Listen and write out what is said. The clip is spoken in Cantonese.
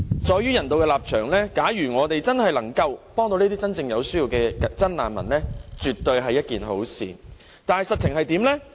基於人道立場，假如我們能夠幫助真正有需要的真難民，絕對是一件好事，但實情如何呢？